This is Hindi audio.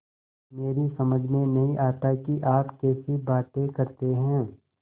मेरी समझ में नहीं आता कि आप कैसी बातें करते हैं